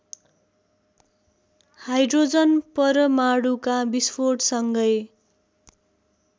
hydrogen परमाणुका विस्फोटसँगै